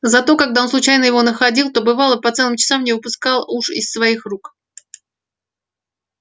зато когда он случайно его находил то бывало по целым часам не выпускал уж из своих рук